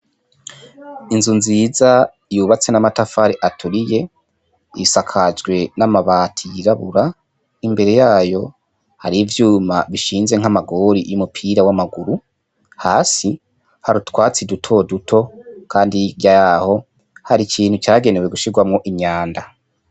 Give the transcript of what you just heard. Inzu nziza yubatse n'amatafari aturiye, isakajwe n'amabati yirabura, imbere yayo hariyo ivyuma bishinze n'amagori y'umupira w'amaguru hasi hari utwatsi duto duto kandi hirya yaho hari ikintu cagenewe gushirwamwo imyanda.